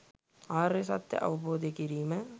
ආර්ය සත්‍යය අවබෝධ කිරීම